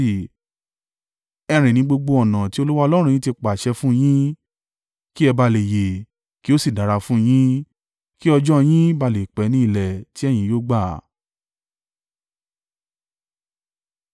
Ẹ rìn ní gbogbo ọ̀nà tí Olúwa Ọlọ́run yín ti pàṣẹ fún un yín, kí ẹ bá à le yè, kí ó sì dára fún un yín, kí ọjọ́ ọ yín bá à lè pẹ́ ní ilẹ̀ tí ẹ̀yin yóò gbà.